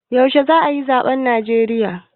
yaushe za a yi zabe a Najeriya?